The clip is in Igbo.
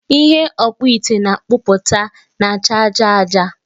Ihe ọkpụite na-akpụpụta na-acha aja aja